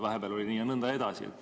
Vahepeal oli nii.